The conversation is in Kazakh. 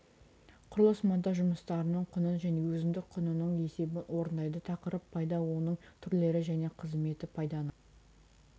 құрылыс монтаж жұмыстарының құнын және өзіндік құнының есебін орындайды тақырып пайда оның түрлері және қызметі пайданы